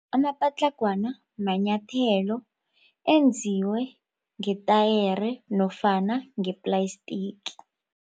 Amapatlagwana manyathelo enziwe ngetayere nofana ngeplastiki.